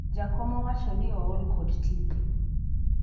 jakom owacho ni ool kod tije